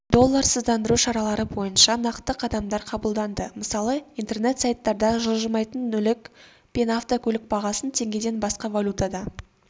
долларсыздандыру шаралары бойынша нақты қадамдар қабылданды мысалы интернет-сайттарда жылжымайтын мүлік пен автокөлік бағасын теңгеден басқа валютада